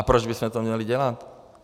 A proč bychom to měli dělat?